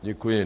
Děkuji.